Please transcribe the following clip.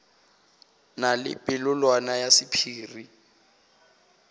na le polelwana ya sephiri